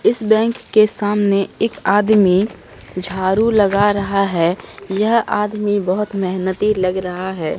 इस बैंक के सामने एक आदमी झाड़ू लगा रहा है यह आदमी बहुत मेहनती लग रहा है।